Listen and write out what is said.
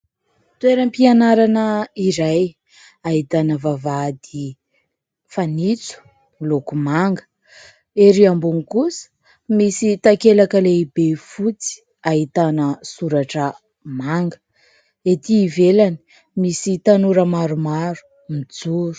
Toeram- pianarana iray ahitana vavahady fanitso miloko manga. Ery ambony kosa misy takelaka lehibe fotsy, ahitana soratra manga, ety ivelany misy tanora maromaro mijoro.